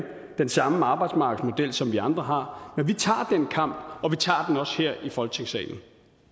den samme arbejdsmarkedsmodel som vi andre har men vi tager den kamp og vi tager den også her i folketingssalen